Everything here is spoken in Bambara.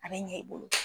A bɛ ɲɛ i bolo